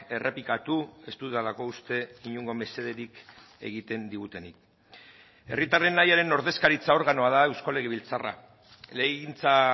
errepikatu ez dudalako uste inongo mesederik egiten digutenik herritarren nahiaren ordezkaritza organoa da eusko legebiltzarra legegintza